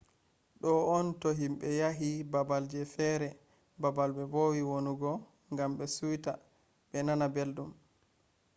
do on to himbe yahi babal je fere babal be vowi wonugo gam be suita be nana beldum